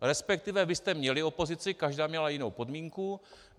Respektive vy jste měli opozici, každá měla jinou podmínku.